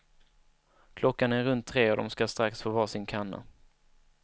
Klockan är runt tre och de ska strax få var sin kanna.